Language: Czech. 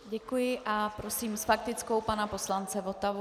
Děkuji a prosím s faktickou pana poslance Votavu.